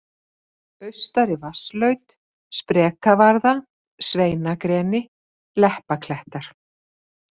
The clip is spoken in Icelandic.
Austari-Vatnslaut, Sprekavarða, Sveinagreni, Leppaklettar